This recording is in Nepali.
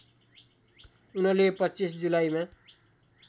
उनले २५ जुलाईमा